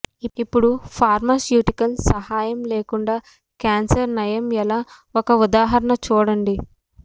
ఇప్పుడు ఫార్మాస్యూటికల్స్ సహాయం లేకుండా క్యాన్సర్ నయం ఎలా ఒక ఉదాహరణ చూడండి